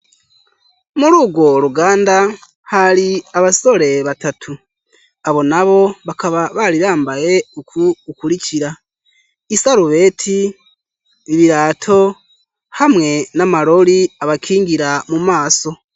Mur'urwo ruganda ,hari abasore batatu, abo nabo bakaba barirambaye uku gukurikira, isarubeti birato hamwe n'amarori abakingira mu maso.